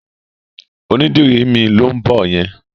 Onídìrí mi ló ń bọ̀ yẹn.